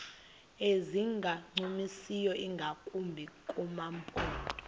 ezingancumisiyo ingakumbi kumaphondo